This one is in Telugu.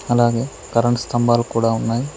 అలాగే కరెంట్ స్తంభాలు కూడా ఉన్నాయి.